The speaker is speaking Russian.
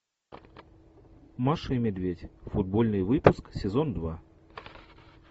маша и медведь футбольный выпуск сезон два